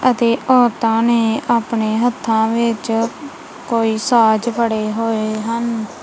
ਅਤੇ ਔਰਤਾਂ ਨੇ ਆਪਣੇ ਹੱਥਾਂ ਵਿੱਚ ਕੋਈ ਸਾਜ ਫੜੇ ਹੋਏ ਹਨ।